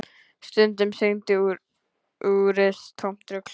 Stundum sýndi úrið tómt rugl.